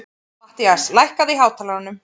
Mattías, lækkaðu í hátalaranum.